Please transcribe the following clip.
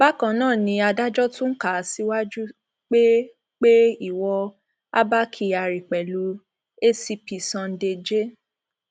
bákan náà ni adájọ tún kà á síwájú pé pé ìwọ abba kyari pẹlú acp sunday j